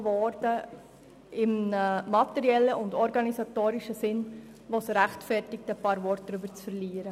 Dabei wurden materielle und organisatorische Änderungen vorgenommen, die es rechtfertigen, darüber einige Worte zu verlieren.